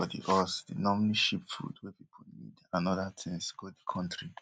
haitians for di us dey normally ship food wey pipo need and oda tins go di kontri